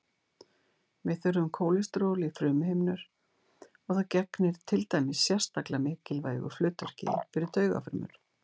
Við þurfum kólesteról í frumuhimnur og það gegnir til dæmis sérstaklega mikilvægu hlutverki fyrir taugafrumur.